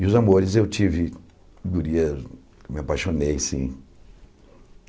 E os amores, eu tive gurias, me apaixonei, sim.